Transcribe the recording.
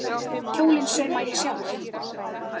Kjólinn sauma ég sjálf.